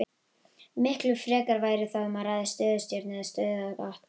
Miklu frekar væri þá um að ræða stöðutjörn eða stöðuvatn.